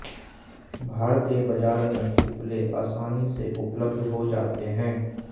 भारतीय बाजार में उपले आसानी से उपलब्ध हो जाते हैं